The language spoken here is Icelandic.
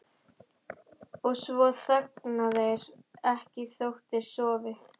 Og svo þagna þeir ekki þótt þeir sofi.